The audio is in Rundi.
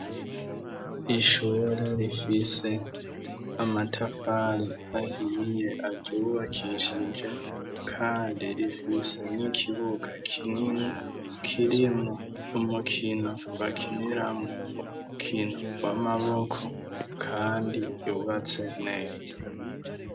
Ishure rifise amatafari ahiye aryubakishije kandi rifise n'ikibuga kinini kirimwo umukino bakiniramwo umukino w'amaboko kandi yubatse neza.